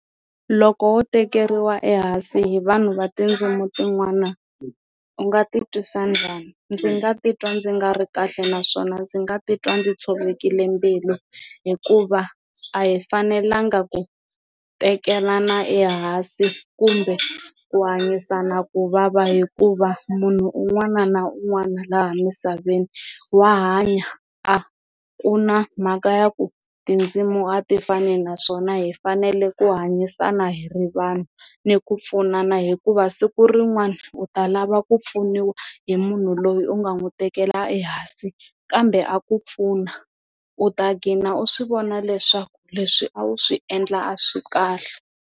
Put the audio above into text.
Loko wo tekeriwa ehansi hi vanhu va tindzimi tin'wana u nga ti twisa njhani? Ndzi nga titwa ndzi nga ri kahle naswona ndzi nga titwa ndzi tshovekile mbilu hikuva a hi fanelanga ku teketelana ehansi kumbe ku hanyisana kuvava hikuva munhu un'wana na un'wana laha misaveni wa hanya a ku na mhaka ya ku tindzimu a ti fani naswona hi fanele ku hanyisana hi ri vanhu ni ku pfunana hikuva siku rin'wana u ta lava ku pfuniwa hi munhu loyi u nga n'wi tekela ehansi, kambe a ku pfuna u ta gcina u swi vona leswaku leswi a wu swi endla a swi kahle.